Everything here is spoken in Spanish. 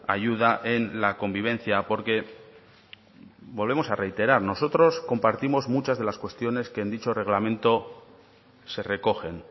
ayuda en la convivencia porque volvemos a reiterar nosotros compartimos muchas de las cuestiones que en dicho reglamento se recogen